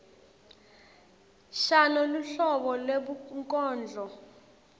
shano luhlobo lwebunkondlo